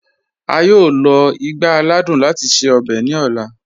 A yọọ lọ igbá àlàdùn láti ṣẹ ọ̀bẹ̀ ni ọla.